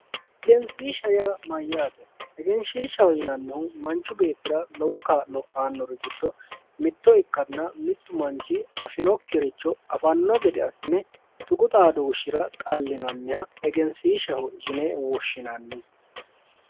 egensiishsha yaa mayaate egenshiishshaho yinannihu manchu beettira lowo kaa'lo aanori giddo mitto ikkanna mittu manchi afinokiricho afanno gede assine tuqu xadooshira xallinanniha egensiishshaho yine woshinannisi.